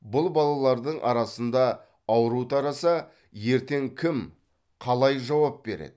бұл балалардың арасында ауру тараса ертең кім қалай жауап береді